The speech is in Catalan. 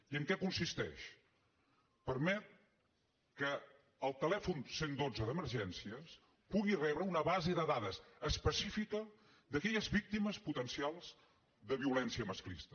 i en què consisteix permet que el telèfon cent i dotze d’emergències pugui rebre una base de dades específica d’aquelles víctimes potencials de violència masclista